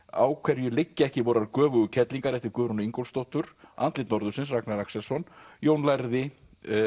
á hverju liggja ekki vorar göfugu kellingar eftir Guðrúnu Ingólfsdóttur andlit norðursins eftir Ragnar Axelsson Jón lærði